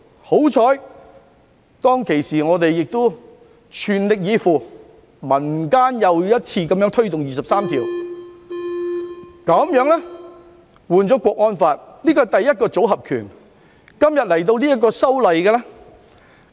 幸好，當時我們亦全力以赴，民間又一次推動就《基本法》第二十三條立法，換來了《香港國安法》。